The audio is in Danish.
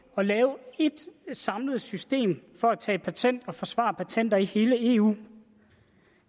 at lave ét samlet system for at tage patent og forsvare patenter i hele eu